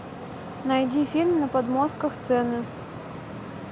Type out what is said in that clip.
найди фильм на подмостках сцены